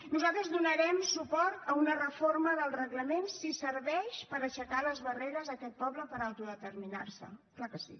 nosaltres donarem suport a una reforma del reglament si serveix per aixecar les barreres a aquest poble per autodeterminar se clar que sí